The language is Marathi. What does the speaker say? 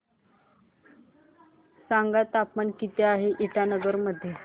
सांगा तापमान किती आहे इटानगर मध्ये